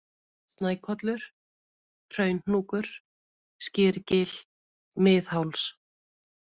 Snækollur, Hraunhnúkur, Skyrgil, Mið-Háls